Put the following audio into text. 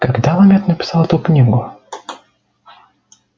когда ламет написал эту книгу